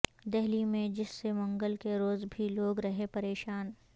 دہلی میں حبس سے منگل کے روزبھی لوگ رہے پریشان